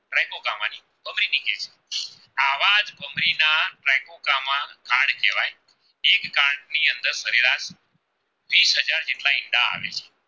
ના ઈંડા આવે છે.